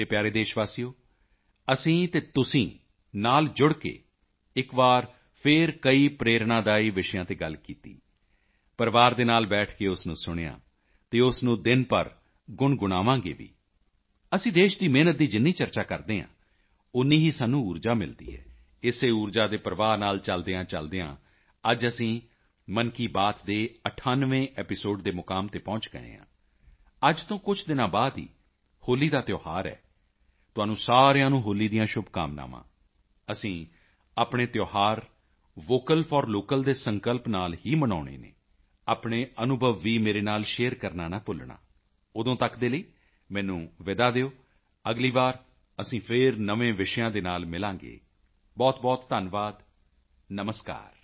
ਮੇਰੇ ਪਿਆਰੇ ਦੇਸ਼ਵਾਸੀਓ ਅਸੀਂ ਅਤੇ ਤੁਸੀਂ ਨਾਲ ਜੁੜ ਕੇ ਇੱਕ ਵਾਰ ਫਿਰ ਕਈ ਪ੍ਰੇਰਣਾਦਾਈ ਵਿਸ਼ਿਆਂ ਤੇ ਗੱਲ ਕੀਤੀ ਪਰਿਵਾਰ ਦੇ ਨਾਲ ਬੈਠ ਕੇ ਉਸ ਨੂੰ ਸੁਣਿਆ ਅਤੇ ਉਸ ਨੂੰ ਦਿਨ ਭਰ ਗੁਣਗੁਣਾਵਾਂਗੇ ਵੀ ਅਸੀਂ ਦੇਸ਼ ਦੀ ਮਿਹਨਤ ਦੀ ਜਿੰਨੀ ਚਰਚਾ ਕਰਦੇ ਹਾਂ ਓਨੀ ਹੀ ਸਾਨੂੰ ਊਰਜਾ ਮਿਲਦੀ ਹੈ ਇਸੇ ਊਰਜਾ ਪ੍ਰਵਾਹ ਦੇ ਨਾਲ ਚਲਦਿਆਂਚਲਦਿਆਂ ਅੱਜ ਅਸੀਂ ਮਨ ਕੀ ਬਾਤ ਦੇ 98ਵੇਂ ਐਪੀਸੋਡ ਦੇ ਮੁਕਾਮ ਤੇ ਪਹੁੰਚ ਗਏ ਹਾਂ ਅੱਜ ਤੋਂ ਕੁਝ ਦਿਨਾਂ ਬਾਅਦ ਹੀ ਹੋਲੀ ਦਾ ਤਿਉਹਾਰ ਹੈ ਤੁਹਾਨੂੰ ਸਾਰਿਆਂ ਨੂੰ ਹੋਲੀ ਦੀਆਂ ਸ਼ੁਭਕਾਮਨਾਵਾਂ ਅਸੀਂ ਆਪਣੇ ਤਿਉਹਾਰ ਵੋਕਲ ਫੌਰ ਲੋਕਲ ਦੇ ਸੰਕਲਪ ਨਾਲ ਹੀ ਮਨਾਉਣੇ ਹਨ ਆਪਣੇ ਅਨੁਭਵ ਵੀ ਮੇਰੇ ਨਾਲ ਸ਼ੇਅਰ ਕਰਨਾ ਨਾ ਭੁੱਲਣਾ ਉਦੋਂ ਤੱਕ ਦੇ ਲਈ ਮੈਨੂੰ ਵਿਦਾ ਦਿਓ ਅਗਲੀ ਵਾਰੀ ਅਸੀਂ ਫਿਰ ਨਵੇਂ ਵਿਸ਼ਿਆਂ ਦੇ ਨਾਲ ਮਿਲਾਂਗੇ ਬਹੁਤਬਹੁਤ ਧੰਨਵਾਦ ਨਮਸਕਾਰ